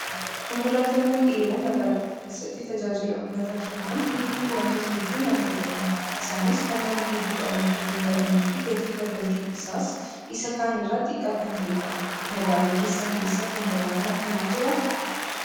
Konkolaataawwan dheeroon magaalota keessatti tajaajila uummataa kennan hedduun wantoota hedduun adda ta'u. Isaanis kan nama hedduu qabachuu danda'anii fi gatiin kaffaltii isaas isa kaanirraa xiqqaa kan ta'edha. Magaalaa keessan keessa konkolaataan akkanaa jiraa?